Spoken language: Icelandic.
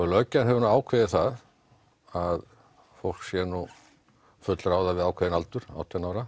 löggjafinn hefur ákveðið það að fólk sé nú fullráða við ákveðinn aldur átján ára